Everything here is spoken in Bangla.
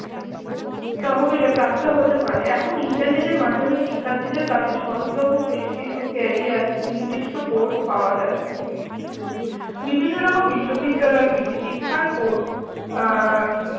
তহবিলে প্রাপ্ত হতে পারে। এখন ইন্টারনেটের মাধ্যমে শিক্ষার্থীদের কাছে সহজলভ্য বেশ কিছু career নির্দিষ্ট course পাওয়া যায়। বিভিন্নরকম বিশ্ববিদ্যালয়গুলি শিক্ষার কোর্স আহ